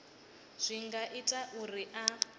zwi nga ita uri a